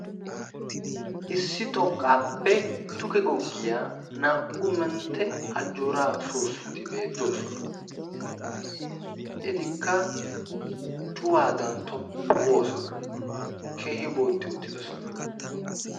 issi xoqqappe duge googiya naa''u mentte ajjoora soosoti beettoosna. etikka cuwaadan tophphu goosona, keehi booxxi uttidoosona.